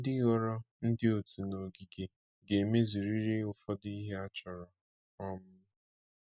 Ndị ghọrọ ndị otu n’ogige ga-emezurịrị ụfọdụ ihe achọrọ. um